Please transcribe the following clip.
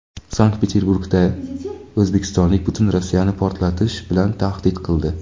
Sankt-Peterburgda o‘zbekistonlik butun Rossiyani portlatish bilan tahdid qildi.